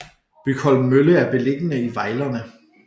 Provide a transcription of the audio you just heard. Bygholm Mølle er beliggende i Vejlerne